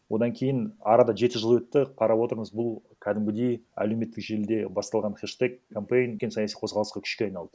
одан кейін арада жеті жыл өтті қарап отырмыз бұл кәдімгідей әлеуметтік желіде басталған хештег кампэйн үлкен саяси қозғалысқа күшке айналды